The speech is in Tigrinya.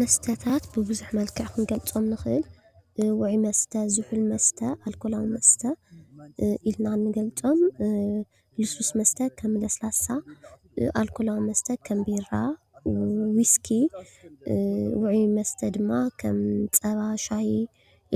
መስተታ ብብዙሕ መልክዕ ክንገልፆም ንኽእል ውዑይ መስተ ፣ ዝሑል መስተ፣ ኣልኮላዊ መስተ ኢልና ንገልፆም፡፡ ልስሉስ መስተ ከም ለስላሳ፣ ኣልኮላዊ መስተ ከም ቢራ ፣ ዊስኪ ፣ውዑይ መስተ ድማ ከም ፀባን ሻሂ